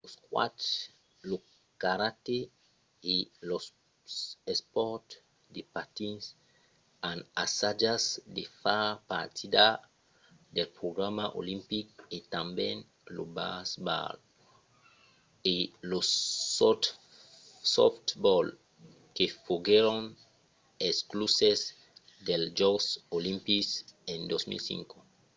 lo squash lo karate e los espòrts de patins an assajat de far partida del programa olimpic e tanben lo baseball e lo softball que foguèron excluses dels jòcs olimpics en 2005